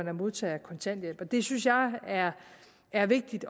er modtagere af kontanthjælp det synes jeg er er vigtigt